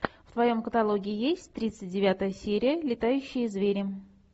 в твоем каталоге есть тридцать девятая серия летающие звери